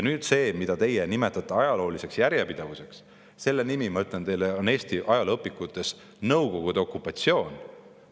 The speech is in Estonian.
Nüüd see, mida teie nimetate ajalooliseks järjepidevuseks – ma ütlen teile, et selle nimi on Eesti ajalooõpikutes Nõukogude okupatsioon.